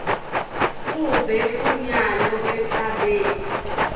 kube kunyalo emhlabeni